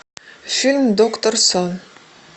фильм доктор сон